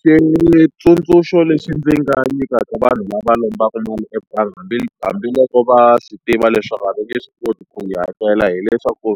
Switsundzuxo leswi ndzi nga nyikaka vanhu lava lombaka mali ebangi hambiloko va swi tiva leswaku a ndzi nge swi koti ku yi hakela hileswaku,